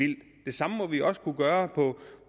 det samme må vi også kunne gøre